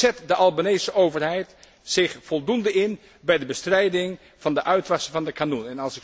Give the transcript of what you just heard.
Zet de Albanese overheid zich voldoende in bij de bestrijding van de uitwassen van de Kanun?